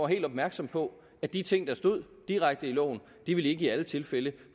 helt opmærksom på at de ting der stod direkte i loven ikke i alle tilfælde